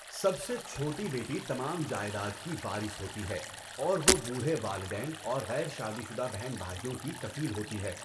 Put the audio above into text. سب سے چھوٹی بیٹی تمام جائیداد کی وارث ہوتی ہے اور وہ بوڑھے والدین اور غیر شادی شدہ بہن بھائیوں کی کفیل ہوتی ہے۔